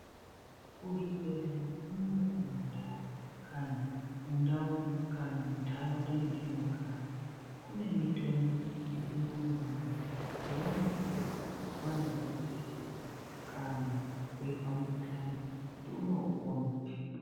Kuzvibhedhleya unono kumandau kana mundau kana muntaraunda metinogara. Kune mitombo yechimanje-manje younopuva vaenda kuchibhedhlera kana veizwa mukuhlani kuti umwe upone.